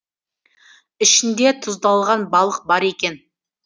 ішінде тұздалған балық бар екен